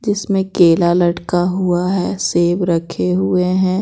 जिसमें केला लटका हुआ है सेब रखे हुए हैं।